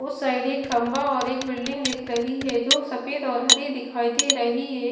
उस साइड एक खंबा और एक बिल्डिंग दिख रही है जो सफेद और हरी दिखाई दे रही है।